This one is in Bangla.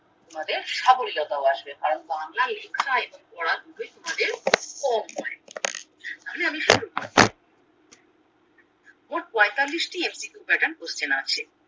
তোমাদের সাবইলতা ও আসবে কারণ বাংলা লেখা আয়ত্ত করা দুটোই তোমাদের কম তবে আমি শুরু করছি মোট পয়ঁতাল্লিশটি MCQ pattern question আছে